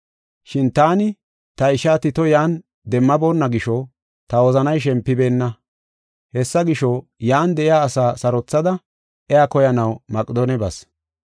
Shin taani ta ishaa Tito yan demmaboonna gisho ta wozanay shempibeenna. Hessa gisho, yan de7iya asaa sarothada iya koyanaw Maqedoone bas.